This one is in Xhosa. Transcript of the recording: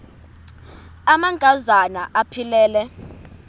amanka zana aphilele